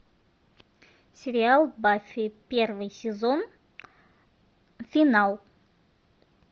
сериал баффи первый сезон финал